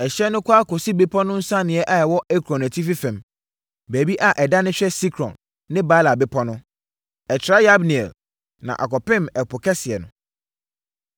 Ɛhyeɛ no kɔ ara kɔsi bepɔ no nsianeɛ a ɛwɔ Ekron atifi fam, baabi a ɛdane hwɛ Sikron ne Baala bepɔ no. Ɛtra Yabneel na akɔpem Ɛpo Kɛseɛ no.